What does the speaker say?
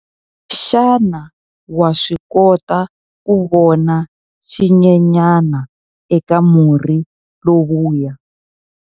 Xana wa swi kota ku vona xinyenyana eka murhi lowuya?